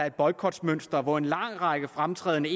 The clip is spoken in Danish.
et boykotmønster hvor en lang række fremtrædende